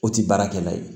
O tɛ baarakɛla ye